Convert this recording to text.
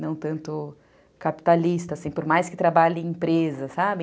Não tanto capitalista, assim, por mais que trabalhe em empresa, sabe?